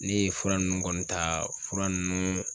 Ne ye fura nunnu kɔni ta, fura ninnu